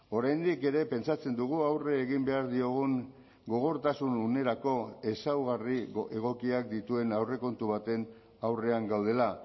oraindik ere pentsatzen dugu aurre egin behar diogun gogortasun unerako ezaugarri egokiak dituen aurrekontu baten aurrean gaudela